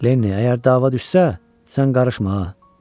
Lenni, əgər dava düşsə, sən qarışma ha.